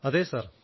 അതേ സർ